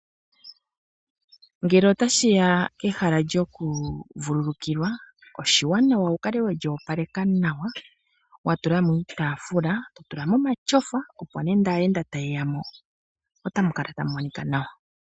Ngele ota shi ya kehala lyoku vululukilwa, oshiwanawa wu kale weli opaleka nawa, wa tula mo iitaafula, to tula mo omatyofa, opo nande aayenda taye ya mo otamu kala tamu monika nawa.